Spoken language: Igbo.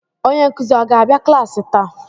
onye nkuzi ọ ga-abịa klaasị taa?